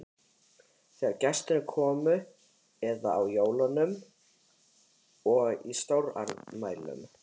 Þegar gestir komu eða á jólum og stórafmælum.